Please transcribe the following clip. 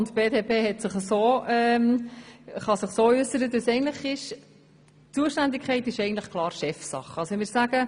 Die BDP kann sich so äussern, dass die Zuständigkeit klar Chefsache ist.